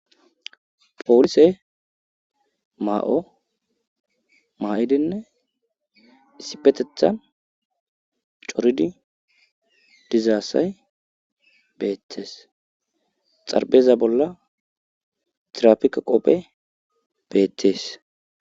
poolise ma7o maayidinne issipetethan qeridi diza asya beeetes xaepheeza bolla tiraafike ogey beettes.